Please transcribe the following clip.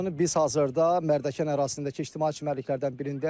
Biz hazırda Mərdəkan ərazisindəki ictimai çimərliklərdən birindəyik.